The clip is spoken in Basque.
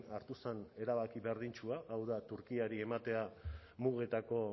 hartu zen erabaki berdintsua hau da turkiari ematea mugetako